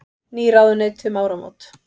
Ný ráðuneyti um áramót